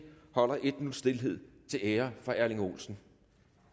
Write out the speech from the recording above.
holder en minuts stilhed til ære for erling olsen